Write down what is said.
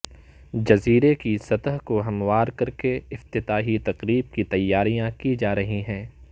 جزیرے کی سطح کو ہموار کرکے افتتاحی تقریب کی تیاریاں کی جارہی ہیں